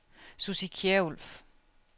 Sussi Kjærulff